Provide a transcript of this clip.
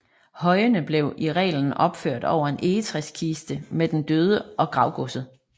Højene blev i reglen opført over en egetræskiste med den døde og gravgodset